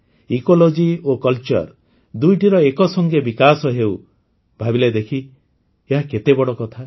ଋମକ୍ଟକ୍ଷକ୍ଟଶଚ୍ଚ ଓ ଉଙ୍କକ୍ଷଗ୍ଧଙ୍କକ୍ସର ଦୁଇଟିର ଏକସଙ୍ଗେ ବିକାଶ ହେଉ ଭାବିଲେ ଦେଖି ଏହା କେତେବଡ଼ କଥା